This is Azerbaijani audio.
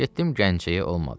Getdim Gəncəyə olmadı.